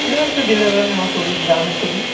এটা একটা দিনেরবেলা নেওয়া ছবি গ্রামের ছবি।